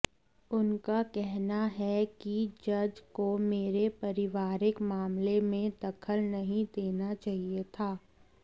उनका कहना है कि जज को मेरे पारिवारिक मामले में दखल नहीं देना चाहिए था